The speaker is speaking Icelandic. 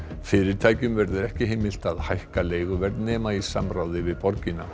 fyrirtækjum verður ekki heimilt að hækka leiguverð nema í samráði við borgina